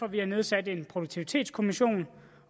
at vi har nedsat en produktivitetskommission